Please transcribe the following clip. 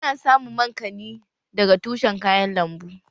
Ana samun mankani daga tushen kayan lambu